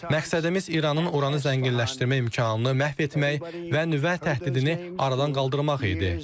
Məqsədimiz İranın uranı zənginləşdirmə imkanını məhv etmək və nüvə təhdidini aradan qaldırmaq idi.